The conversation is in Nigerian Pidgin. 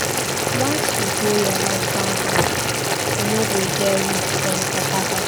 Once you go your husband house, you no go get room for your papa house.